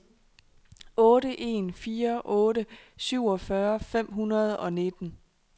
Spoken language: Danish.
otte en fire otte syvogfyrre fem hundrede og nitten